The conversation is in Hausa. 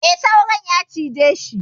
E, Saurin ya cijeshi.